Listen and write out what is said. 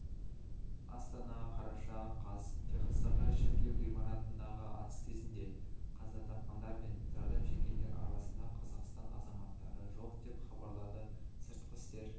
астана қараша қаз техастағы шіркеу ғимаратындағы атыс кезінде қаза тапқандар мен зардап шеккендер арасында қазақстан азаматтары жоқ деп хабарлады сыртқы істер